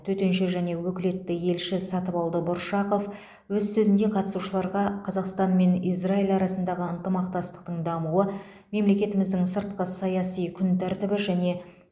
төтенше және өкілетті елші сатыбалды бұршақов өз сөзінде қатысушыларға қазақстан мен израиль арасындағы ынтымақтастықтың дамуы мемлекетіміздің сыртқы саяси күн тәртібі және